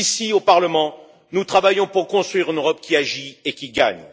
Ici, au Parlement, nous travaillons pour construire une Europe qui agit et qui gagne.